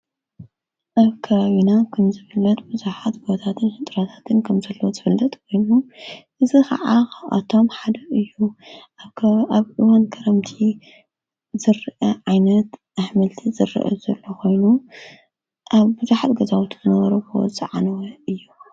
ኣብ ከራዩና ክንዘብለት ብዙኃት በወታትን ኅጥራታትን ከም ዘለዎ ዘፈለጥ ኮይኑ እዝ ኸዓ ኣቶም ሓደ እዩ ኣብ ኢወን ከረምቲ ዘርአ ዓይነት ኣኅምልቲ ዘርአ ዘለኾይኑ ኣብ ብዙኃጥ ገዛውትነበረበወ ፀዓነወ እዩ